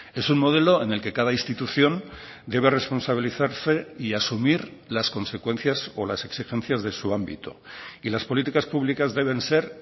es un modelo en el que cada institución debe responsabilizarse y asumir las consecuencias o las exigencias de su ámbito y las políticas públicas deben ser